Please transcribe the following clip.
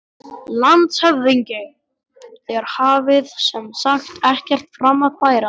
LANDSHÖFÐINGI: Þér hafið sem sagt ekkert fram að færa?